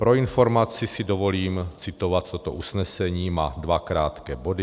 Pro informaci si dovolím citovat toto usnesení, má dva krátké body.